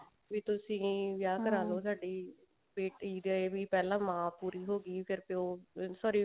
ਵੀ ਤੁਸੀਂ ਵਿਆਹ ਕਰਾਲੋ ਸਾਡੀ ਬੇਟੀ ਦੇ ਵੀ ਪਹਿਲਾਂ ਮਾਂ ਓਉਰੀ ਹੋਗੀ ਫ਼ੇਰ ਪਿਓ sorry